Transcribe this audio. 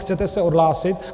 Chcete se odhlásit?